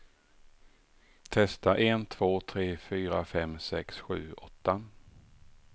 Testar en två tre fyra fem sex sju åtta.